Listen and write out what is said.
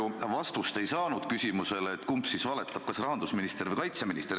Ega ma ju vastust ei saanud küsimusele, kumb siis valetab, kas rahandusminister või kaitseminister.